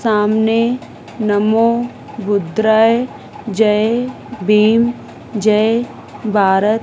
सामने नमो जय बीम जय भारत--